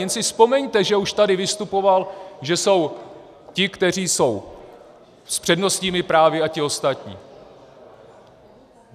Jen si vzpomeňte, že už tady vystupoval, že jsou ti, kteří jsou s přednostními právy, a ti ostatní.